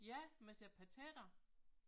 Ja man siger patater